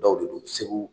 Dɔw de do segu